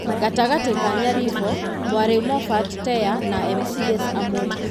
Gatagatĩ ka Nyaribo, Mwaria Moffat Teya na MCAs amwe.